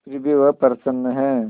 फिर भी वह प्रसन्न है